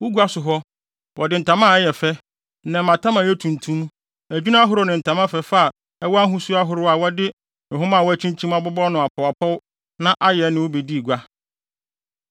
Wo gua so hɔ, wɔde ntama a ɛyɛ fɛ, nnɛmmatam a ɛyɛ tuntum, adwinne ahorow ne ntama fɛfɛ a ɛwɔ ahosu ahorow a wɔde nhoma a wɔakyinkyim abobɔ no apɔwapɔw na ayɛ ne wo bedii gua.